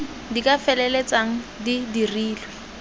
di ka feleltsang di dirile